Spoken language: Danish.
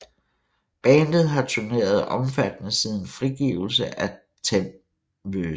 Bandet har turneret omfattende siden frigivelse af Them vs